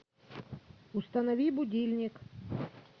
установи будильник